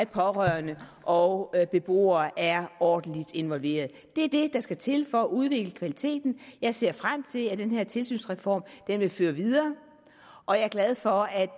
pårørende og beboerne er ordentligt involveret det er det der skal til for at udvikle kvaliteten jeg ser frem til at den her tilsynsreform vil blive ført videre og jeg er glad for at